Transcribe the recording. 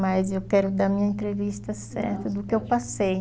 Mas eu quero dar a minha entrevista certa do que eu passei.